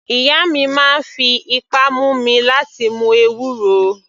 Ìyá mi máa ń fi ipá mú mi láti mu ewúro.